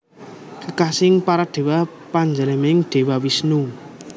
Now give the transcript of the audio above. Kekasining para Dewa panjalmaning Dewa Wisnu